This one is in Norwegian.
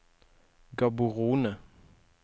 Gaborone